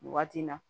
Nin waati in na